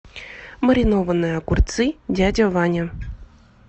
маринованные огурцы дядя ваня